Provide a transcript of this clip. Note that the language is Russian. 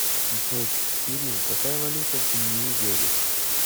джой кирилл какая валюта в нью вегасе